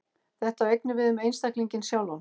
Þetta á einnig við um einstaklinginn sjálfan.